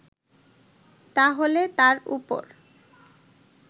তাহলে তার উপর